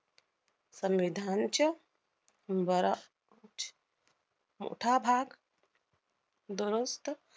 संविधानच्या मोठा भाग दुरुस्त